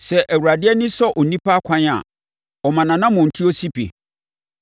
Sɛ Awurade ani sɔ onipa akwan a, ɔma nʼanammɔntuo si pi.